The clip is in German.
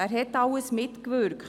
Wer wirkte dabei mit?